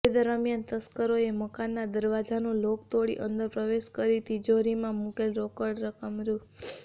તે દરમિયાન તસ્કરોએ મકાનના દરવાજાનું લોક તોડી અંદર પ્રવેશ કરી તિજોરીમાં મુકેલ રોકડ રકમ રૂ